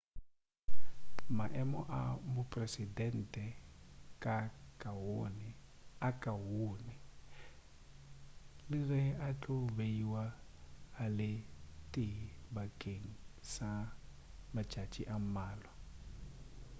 maemo a mopresidente a kaone le ge a tlo beiwa a le tee bakeng sa matšatši a mmalwa